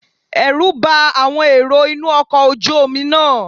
Ẹ̀rù bá àwọn èrò inú ọkọ̀ ojú Omi náà